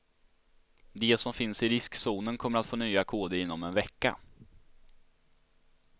De som finns i riskzonen kommer få nya koder inom en vecka.